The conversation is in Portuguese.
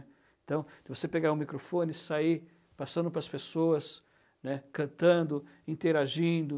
Então, você pegar o microfone e sair passando para as pessoas, né, cantando, interagindo.